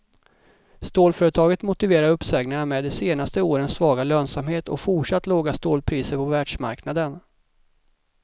Stålföretaget motiverar uppsägningarna med de senaste årens svaga lönsamhet och fortsatt låga stålpriser på världsmarknaden.